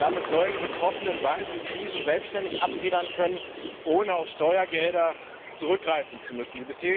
Damit sollen die betroffenen Banken Krisen selbständig abfedern können, ohne auf Steuergelder zurückgreifen zu müssen.